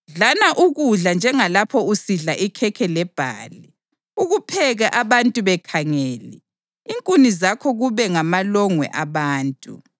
Dlana ukudla njengalapho usidla ikhekhe lebhali, ukupheke abantu bekhangele, inkuni zakho kube ngamalongwe abantu.”